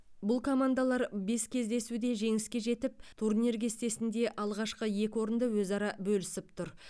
бұл командалар бес кездесуде жеңіске жетіп турнир кестесінде алғашқы екі орынды өзара бөлісіп тұр